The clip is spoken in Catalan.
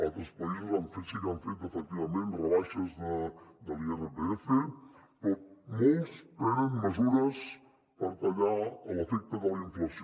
altres països sí que han fet efectivament rebaixes de l’irpf però molts prenen mesures per tallar l’efecte de la inflació